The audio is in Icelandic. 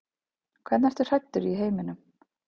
Hvernig ertu hræddur í heiminum?